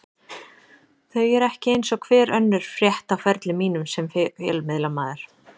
Þau eru ekki eins og hver önnur frétt á ferli mínum sem fjölmiðlamaður.